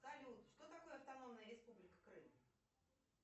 салют что такое автономная республика крым